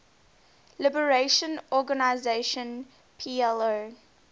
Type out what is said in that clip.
liberation organization plo